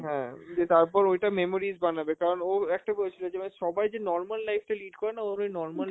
হ্যাঁ যে তারপর ওইটা memories বানাবে, কারণ ও একটা বলেছিল যে মানে সবাই যে norma life টা lead করে না, ওর ওই normal